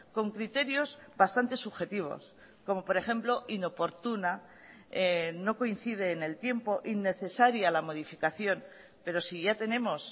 con criterios bastantes subjetivos como por ejemplo inoportuna no coincide en el tiempo innecesaria la modificación pero si ya tenemos